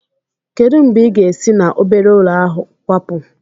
Kedu mgbe ị ga-esi na obere ụlọ ahụ kwapu?